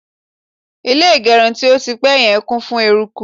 ilé igerun ti o ti pẹ yen kún fún eruku